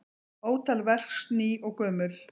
Ótal verks ný og gömul.